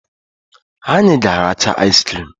Anyị ga aracha aiz crim.